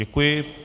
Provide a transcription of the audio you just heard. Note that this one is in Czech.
Děkuji.